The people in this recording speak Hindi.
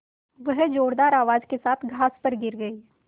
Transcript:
वह ज़ोरदार आवाज़ के साथ घास पर गिर गई